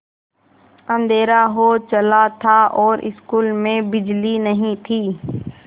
अँधेरा हो चला था और स्कूल में बिजली नहीं थी